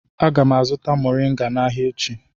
Aga m azụta moriga n'ahia echi